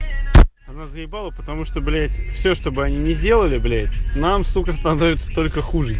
разъебала потому что блять все чтобы они не сделали блять нам сука становится только хуже